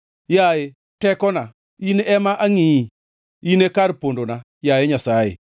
Yaye tekona, in ema angʼiyi, in e kar pondona, yaye Nyasaye,